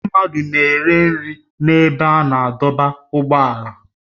Ndị mmadụ na-ere nri n'ebe a na-adọba ụgbọala